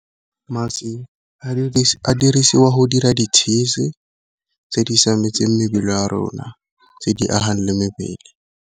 Mašwi a dirisiwa go dira ditšhisi tse di siametseng mebele ya a rona, tse di agang le mebele.